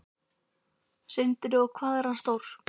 Sindri: Og hvað er hann stór?